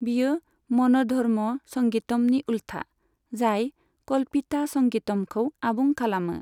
बेयो मन'धर्म संगीतमनि उल्था, जाय कल्पिता संगीतमखौ आबुं खालामो।